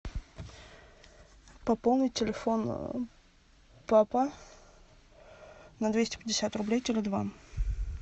пополнить телефон папа на двести пятьдесят рублей теле два